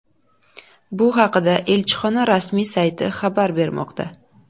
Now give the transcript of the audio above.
Bu haqda elchixona rasmiy sayti xabar bermoqda .